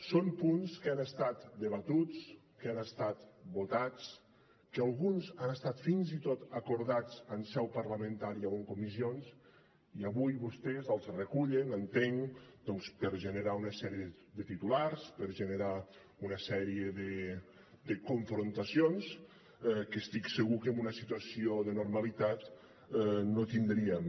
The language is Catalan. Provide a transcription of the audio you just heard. són punts que han estat debatuts que han estat votats que alguns han estat fins i tot acordats en seu parlamentària o en comissions i avui vostès els recullen entenc doncs per generar una sèrie de titulars per generar una sèrie de confrontacions que estic segur que en una situació de normalitat no tindríem